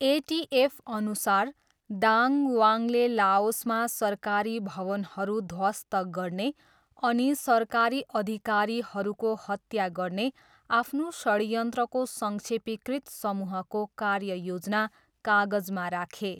एटिएफअनुसार, Dang वाङले लाओसमा सरकारी भवनहरू ध्वस्त गर्ने अनि सरकारी अधिकारीहरूको हत्या गर्ने आफ्नो षड्यन्त्रको संक्षेपीकृत समूहको 'कार्ययोजना' कागजमा राखे।